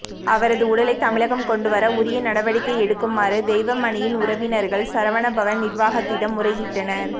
அவரது உடலை தமிழகம் கொண்டுவர உரிய நடவடிக்கை எடுக்குமாறு தெய்வமணியின் உறவினர்கள் சரவணபவன் நிர்வாகத்திடம் முறையிட்டனர்